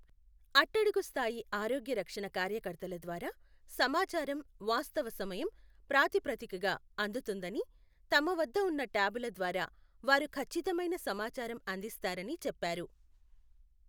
అట్టడుగు స్థాయి ఆరోగ్య రక్షణ కార్యకర్తల ద్వారా సమాచారం వాస్తవ సమయం ప్రాతిప్రతిదికగా అందుతుందని, తమ వద్దఉన్న ట్యాబుల ద్వారా వారు కచ్చితమైన సమాచారం అందిస్తారని చెప్పారు.